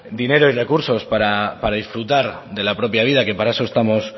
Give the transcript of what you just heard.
dinero y recursos para disfrutar de la propia vida que para estamos